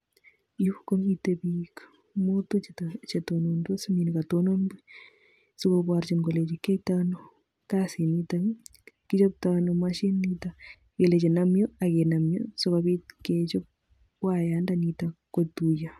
Yu komite bik mutu chetonondos minekatonon sikoborchin kolenjin kioitoi ano kasinitok kichoptoono mashinit nitok kelechi nam yu akinam yu sikobit kechop wayandonito kotuiyo